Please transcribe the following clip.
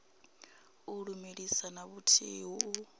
u lumelisa na vhuthihi u